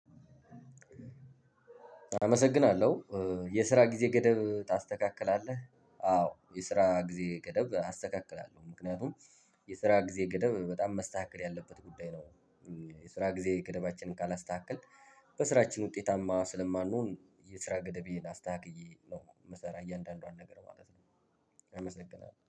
አመሰግናለው የስራ ጊዜ ገደብ ታስተካክላለህ አዎ የስራ ግዜ ገደብ አስተካክላሎው ምክንያቱም የስራ ግዜ ገደብ በጣም መስተካከል ያለበት ጉዳይ ነው። የስራ ግዜ ገደባችን ካላስተካከልን በስራችን ውጤታማ ስለማንሆን የስራ ገደቤን አስተካክየ ነው እምሰራው እያንዳንዷን ነገር። አመሰግናለው